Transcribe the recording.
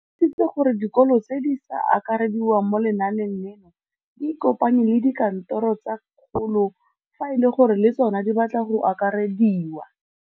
O tlhalositse gore dikolo tse di sa akarediwang mo lenaaneng leno di ikopanye le dikantoro tsa kgaolo fa e le gore le tsona di batla go akarediwa.